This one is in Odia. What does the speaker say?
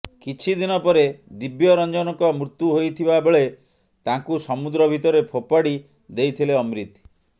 କିଛିଦିନ ପରେ ଦିବ୍ୟରଂଜନଙ୍କ ମୃତ୍ୟୁ ହୋଇଥିବାବେଳେ ତାଙ୍କୁ ସମୁଦ୍ର ଭିତରେ ଫୋପାଡ଼ି ଦେଇଥିଲେ ଅମ୍ରିତ